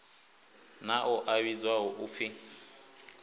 na ḽo a vhidzwaho upfi